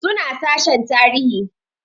Suna sashen tarihi